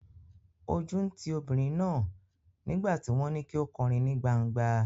Ojú ń ti obìnrin náà nígbà tí wọ́n ní kí ó kọrin ní gban̄gba.